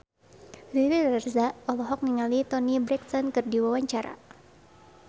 Riri Reza olohok ningali Toni Brexton keur diwawancara